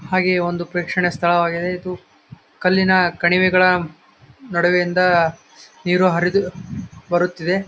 ಹಾಗೆ ಒಂದು ಪ್ರೇಕ್ಷಣೀಯ ಸ್ಥಳವಾಗಿದೆ ಇದು ಕಲ್ಲಿನ ಕಣಿವೆಗಳ ನಡುವೆಯಿಂದ ನೀರು ಹರಿದು ಬರುತ್ತಿದೆ .